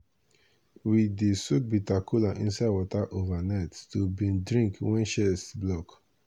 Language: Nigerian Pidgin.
we dey soak bitter kola inside water overnight to bin drink wen chest block.